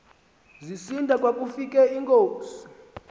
zisinda kwakufika ingozi